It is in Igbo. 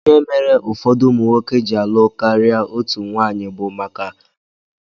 Ihe mere ụfọdụ ụmụnwoke ji alụ karịa otú nwaanyị bụ maka na ike ndina ha dị nnukwu